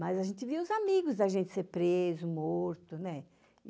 Mas a gente via os amigos da gente serem presos, mortos.